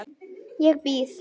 Ég býð.